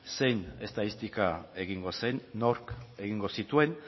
zein estatistika egingo zen nork egingo zituen